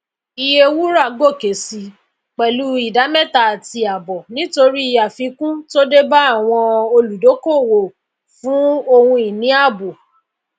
iye wúrà gòkè sí pèlú ìdá méta àti àbò nítorí àfikún tó débá àwọn íolùdokoowo fún ohunini ààbò